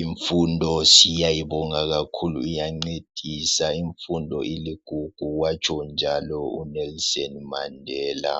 Infundo siyayibonga kakhulu iyancedisa, infundo iligugu watsho njalo uNelson Mandela.